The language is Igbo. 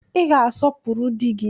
Ị ga-asọpụrụ di gị